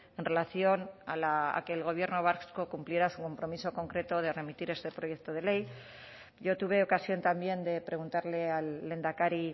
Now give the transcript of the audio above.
en relación a que el gobierno vasco cumpliera su compromiso concreto de remitir este proyecto de ley yo tuve ocasión también de preguntarle al lehendakari